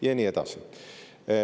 Ja nii edasi.